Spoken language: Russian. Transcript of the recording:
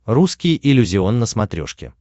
русский иллюзион на смотрешке